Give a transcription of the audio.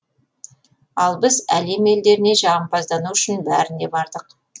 ал біз әлем елдеріне жағымпаздану үшін бәріне бардық